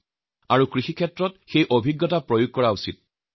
তাত প্ৰদান কৰা কৃষি সম্পৰ্কীয় পৰামৰ্শসমূহ নিজৰ নিজৰ ক্ষেত্ৰত প্ৰয়োগ কৰা উচিৎ